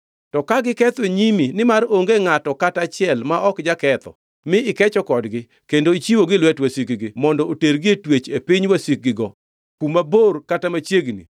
“To ka giketho e nyimi, nimar onge ngʼato kata achiel ma ok jaketho mi ikecho kodgi, kendo ichiwogi e lwet wasikgi mondo otergi e twech e piny wasikgigo, kuma bor kata machiegni;